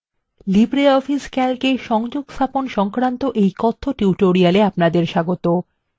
libreoffice calc এ সংযোগস্থাপন সংক্রান্ত এই কথ্য tutorial এ আপনাদের স্বাগত